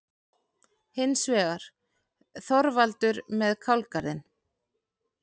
Hins vegar: Þorvaldur með kálgarðinn.